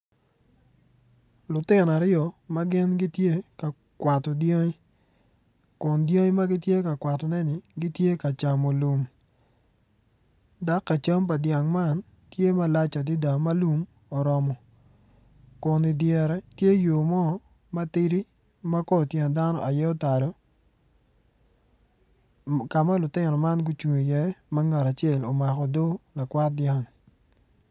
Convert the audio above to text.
Lutino aryo ma gin gitye ka kwato dyangi Kun dyangi ma gitye ka kwatone-ni gitye ka camo lum dak ka cam ka dyang man tye malac adida ma lum oromo Kun idyere tye iye yo mo matidi ma kor tyen dano aye otalo ka ma lutino man gucung iye ma ngat acel omako odoo lakwat dyang.